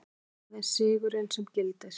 Aðeins sigurinn sem gildir.